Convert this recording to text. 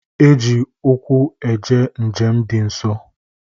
E ji ụkwụ eje njem dị nso